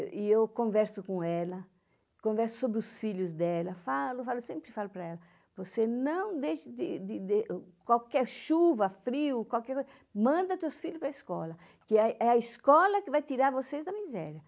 E eu converso com ela, converso sobre os filhos dela, falo, sempre falo para ela, você não deixe de de de... qualquer chuva, frio, qualquer coisa, manda teus filhos para escola, que é a escola que vai tirar vocês da miséria.